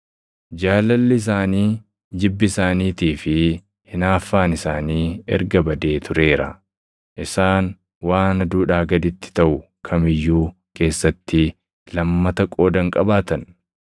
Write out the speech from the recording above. Jaalalli isaanii, jibbi isaaniitii fi hinaaffaan isaanii erga badee tureera; isaan waan aduudhaa gaditti taʼu kam iyyuu keessatti lammata qooda hin qabaatan.